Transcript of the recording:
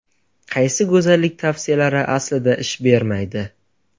Qaysi go‘zallik tavsiyalari aslida ish bermaydi?.